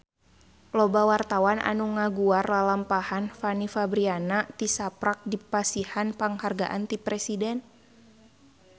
Loba wartawan anu ngaguar lalampahan Fanny Fabriana tisaprak dipasihan panghargaan ti Presiden